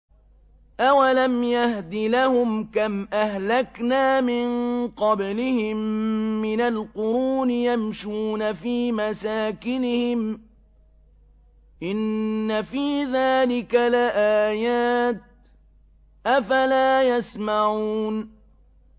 أَوَلَمْ يَهْدِ لَهُمْ كَمْ أَهْلَكْنَا مِن قَبْلِهِم مِّنَ الْقُرُونِ يَمْشُونَ فِي مَسَاكِنِهِمْ ۚ إِنَّ فِي ذَٰلِكَ لَآيَاتٍ ۖ أَفَلَا يَسْمَعُونَ